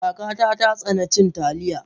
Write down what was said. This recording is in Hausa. Kaka ta tsani cin Taliya.